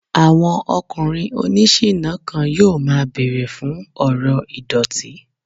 Àwọn ọkùnrin oní ṣiná kan yóò máa bẹ̀rẹ̀ fún ọ̀rọ̀ ìdọ̀tí